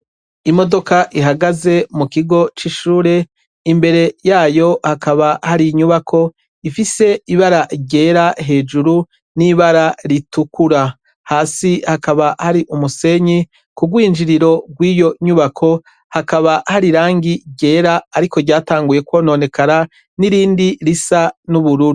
Imodoka ihagaze mu kigo c'ishure. Imbere yayo hakaba hari inyubako ifise ibara ryera hejuru n'ibara ritukura. Hasi hakaba hari umusenyi. Ku rwinjiriro rw'iyo nyubako hakaba hari irangi ryera, ariko ryatanguye kwononekara, n'irindi risa n'ubururu.